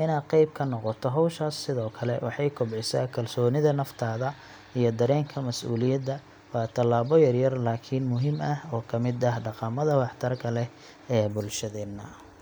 Inaad qeyb ka noqoto hawshaas sidoo kale waxay kobcisaa kalsoonida naftaada iyo dareenka mas’uuliyadda. Waa tallaabo yaryar laakiin muhiim ah oo ka mid ah dhaqamada wax-tarka leh ee bulshadeena.